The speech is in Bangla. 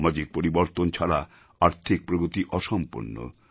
সামাজিক পরিবর্তন ছাড়া আর্থিক প্রগতি অসম্পূর্ণ